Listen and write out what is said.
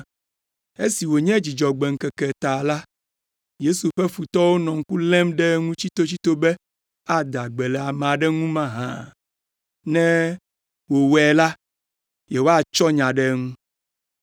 Esi wònye Dzudzɔgbe ŋkeke ta la, Yesu ƒe futɔwo nɔ ŋku lém ɖe eŋu tsitotsito be ada gbe le amea ŋu mahã, ne wòwɔe la, yewoatsɔ nya ɖe eŋu.